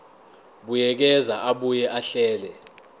buyekeza abuye ahlele